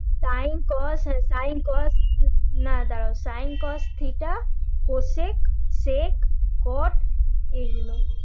Sin cos sin cos না দাড়াও Sin cos theta cosec sec cot এই গুলো